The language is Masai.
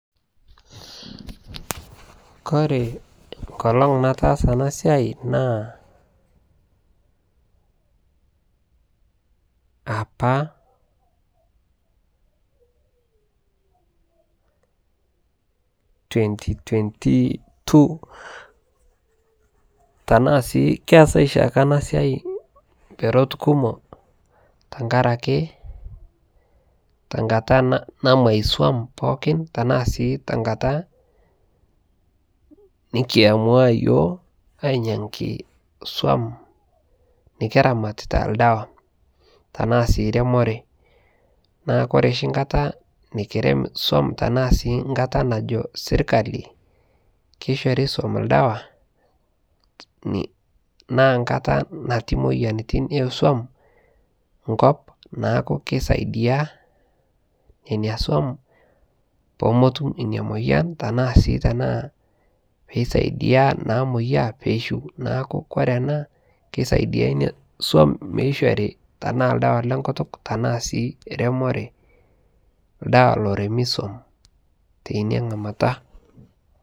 kore nkolon nataasa anaa siai naa apaa 2022,tanaa sii keasai shaake anaa siai mperot kumoo tankarakee tankataa namwai som pookin tanaa sii tankataa nikiamua yooh ainyangii som nikiramatitaa ldawaa tanaa sii remoree. Naaku kore shi nkataa nikirem som tanaa sii nkataa najoo sirkali keishorii som ldawaa naa nkataa natii moyanitin ee som nkop naaku keisaidia nenia som poomotum inia moyan tanaa sii tanaa peisaidia namoyaa peishiu naaku kore anaa keisaidia inia som meishorii tanaa ldawaa le nkutuk tanaa sii remoree ldawaa loremii som teinia nghamataa